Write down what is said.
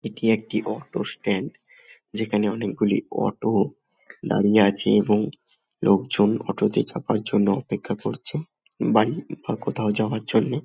এটি একটি auto stand. যেখানে অনকে গুলি অটো দাঁড়িয়ে আছে এবং লোকজন অটো -তে চাপার জন্য অপেক্ষা করছে বাড়ি বা কোথাও যাবার জন্যে।